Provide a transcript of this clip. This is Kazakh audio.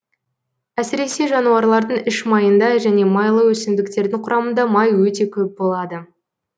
әсіресе жануарлардың іш майында және майлы өсімдіктердің құрамында май өте көп болады